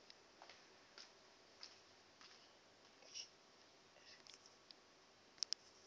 hu uri a zwo ngo